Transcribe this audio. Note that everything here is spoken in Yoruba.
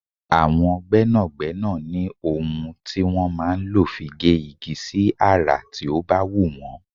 Àwọn gbẹ́nàgbẹ́nà ní ohun tí wọn máa ń lò fi gé igi sí àrà tí ó bá wù wọ́n.